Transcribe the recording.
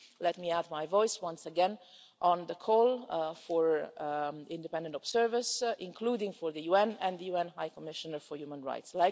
Let me add my voice once again on the call for independent observers, including for the UN and the UN High Commissioner for Human Rights.